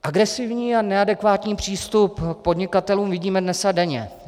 Agresivní a neadekvátní přístup k podnikatelům vidíme dnes a denně.